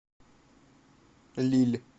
лилль